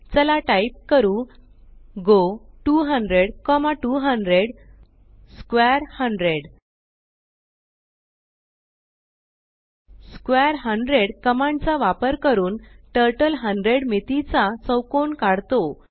चला टाइप करू go 200200 square 100 square 100 command चा वापर करून टर्टल 100 मितीचा चौकोन काढतो